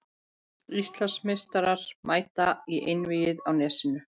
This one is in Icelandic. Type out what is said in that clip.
Íslandsmeistararnir mæta í Einvígið á Nesinu